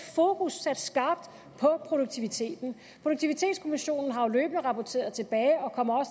fokus sat skarpt på produktiviteten produktivitetskommissionen har jo løbende rapporteret tilbage og kommer